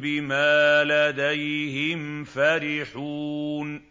بِمَا لَدَيْهِمْ فَرِحُونَ